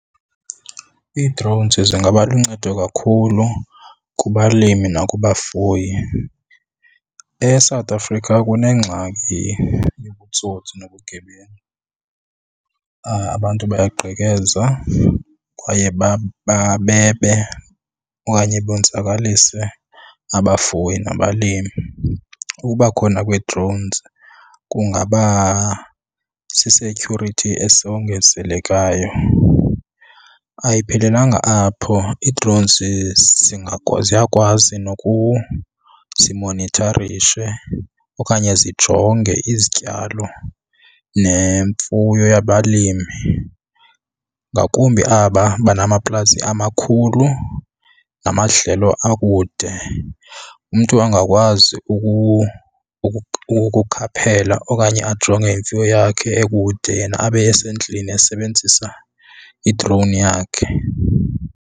Ii-drones zingaba luncedo kakhulu kubalimi nakubafuyi. ESouth Africa kunengxaki yobutsotsi nobugebengu, abantu bayagqekeza kwaye bebe okanye bonzakalise abafuyi nabalimi. Ukuba khona kwee-drones kungaba si-security esongezelekayo. Ayiphelelanga apho, i-drones ziyakwazi zimonitharishe okanye zijonge izityalo nemfuyo yabalimi ngakumbi aba banamaplazi amakhulu namadlelo akude. Umntu angakwazi ukukhaphela okanye ajonge imfuyo yakhe ekude yena abe esendlini esebenzisa i-drone yakhe.